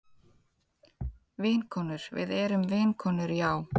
Vinkonur, við erum vinkonur Jahá.